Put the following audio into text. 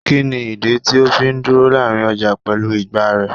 Kini idi ti o fi duro larin ọja pẹlu ìgbá rẹ?